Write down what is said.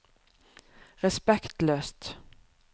respektløst